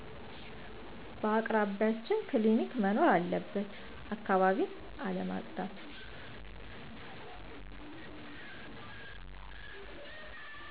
በአቅራቢችን ክሊኒክ መኖር አለበት አካባቢን አለማፀዳት